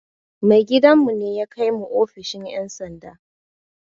Mai gidan mu ne ya kai mu ofishin ƴan sanda